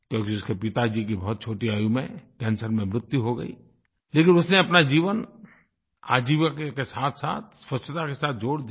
क्योंकि उसके पिता जी की बहुत छोटी आयु में कैंसर में मृत्यु हो गई लेकिन उसने अपना जीवन आजीविका के साथसाथ स्वच्छता के साथ जोड़ दिया